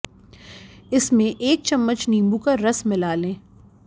इसमें एक चम्मच नीबू का रस मिला लें